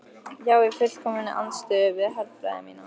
Já í fullkominni andstöðu við herfræði mína.